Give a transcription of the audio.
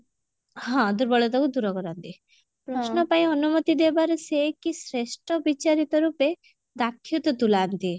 ହଁ ଦୁର୍ବଳତାକୁ ଦୂର କରନ୍ତି ପ୍ରଶ୍ନ ପାଇଁ ଅନୁମତି ଦେବାରେ ସେ କି ଶ୍ରେଷ୍ଠ ବିଚାରିତ ରୂପେ ଦାକ୍ଷତ ତୁଲାନ୍ତି